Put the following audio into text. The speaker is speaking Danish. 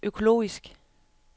økologisk